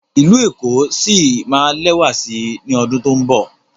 ilú ẹko sí má lẹwa sí ní ọdun to'n nbọ